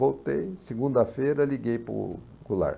Voltei, segunda-feira liguei para o Goulart.